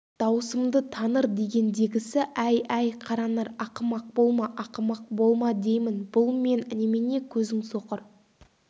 даусымды таныр дегендегісі әй әй қаранар ақымақ болма ақымақ болма деймін бұл мен немене көзің соқыр